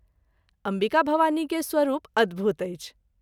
अम्बिका भवानी के स्वरूप अद्भुत अछि।